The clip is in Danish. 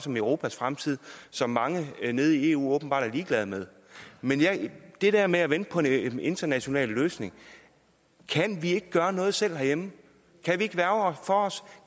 om europas fremtid som mange nede i eu åbenbart er ligeglade med men det der med at vente på en international løsning kan vi ikke gøre noget selv herhjemme kan vi ikke værge for os